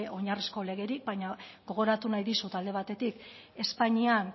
oinarrizko legerik baina gogoratu nahi dizut alde batetik espainian